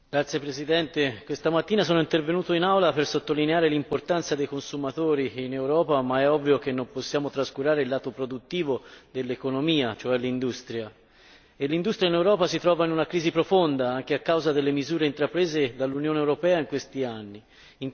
Signora Presidente, onorevoli colleghi, questa mattina sono intervenuto in Aula per sottolineare l'importanza dei consumatori in Europa, ma è ovvio che non possiamo trascurare il lato produttivo dell'economia, cioè l'industria. L'industria in Europa si trova in una crisi profonda, anche a causa delle misure intraprese dall'Unione europea in questi anni.